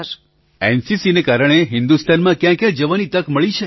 પ્રધાનમંત્રી એનસીસીના કારણે હિન્દુસ્તાનમાં ક્યાં ક્યાં જવાની તક મળી છે